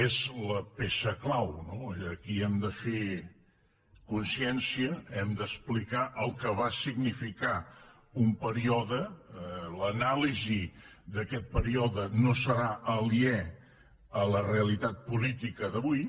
és la peça clau no aquí hem de fer consciència hem d’explicar el que va significar un període i l’anàlisi d’aquest període no serà aliè a la realitat política d’avui